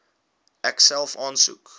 ek self aansoek